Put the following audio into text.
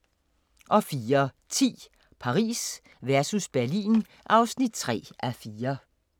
04:10: Paris versus Berlin (3:4)